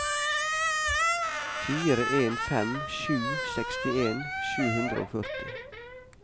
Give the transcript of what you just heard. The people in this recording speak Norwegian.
fire en fem sju sekstien sju hundre og førti